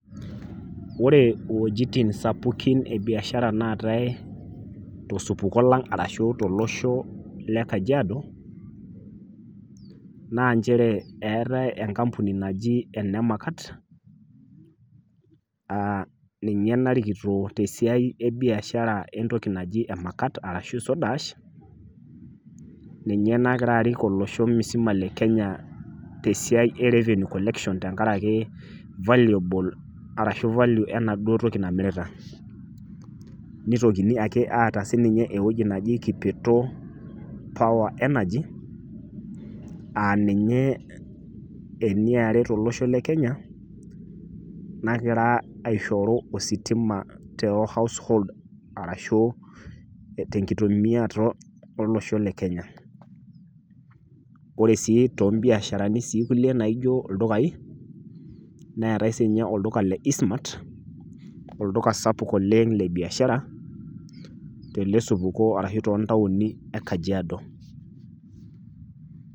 Ore iwuejitin sapukin ebiashara naatae tosupuko lang arashu tolosho le kajiado naa nchere , eetae enkampuni naji ene makat aa ninye narikito tesiai ebiashara entoki naji emakat arashu soda ash ninye nagira arik olosho musima le kenya te siai e revenue collection tenkaraki valuable arashu value enaduo toki namirita . Nitokiti ake aata sininye ewueji kipeto power energy aa ninye eniare tolosho le kenya , nagira aishoru ositima te household arashu tenkitumiata olosho le kenya . Ore sii toombiasharani kulie naijo ildukai neetae sininye olduka le eastmart oluka sapuk oleng lebiashara telesupuko ashu toontaoni ekajiado.